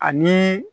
Ani